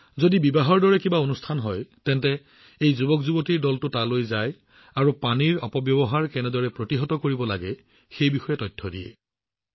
যদি কৰবাত বিবাহৰ দৰে ঘটনা ঘটে যুৱকযুৱতীৰ এই গোটটোৱে তালৈ যায় আৰু পানীৰ অপব্যৱহাৰ কেনেদৰে বন্ধ কৰিব পাৰি সেই বিষয়ে তথ্য দিয়ে